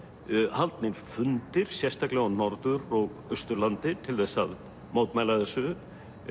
haldnir fundir sérstaklega á Norður og Austurlandi til að mótmæla þessu